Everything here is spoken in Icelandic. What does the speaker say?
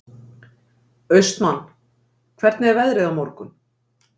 Austmann, hvernig er veðrið á morgun?